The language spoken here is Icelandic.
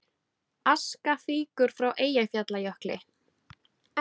Aska fýkur frá Eyjafjallajökli